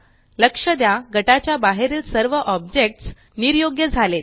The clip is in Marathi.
लक्ष द्या गटाच्या बाहेरील सर्व ऑब्जेकट्स निर्योग्य झालेत